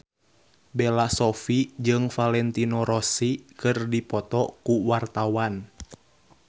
Bella Shofie jeung Valentino Rossi keur dipoto ku wartawan